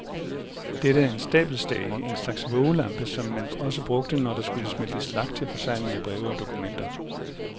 Dette er en stabelstage, en slags vågelampe, som man også brugte, når der skulle smeltes lak til forsegling af breve og dokumenter.